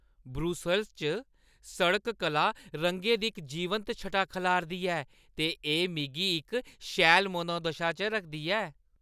Brussels च सड़क कला रंगें दी इक जीवंत छटा खलारदी ऐ ते एह् मिगी इक शैल मनोदशा च रखदी ऐ।